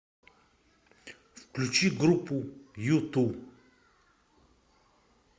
включи группу юту